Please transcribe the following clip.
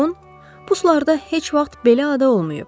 Mılğon, puslarda heç vaxt belə ada olmayıb.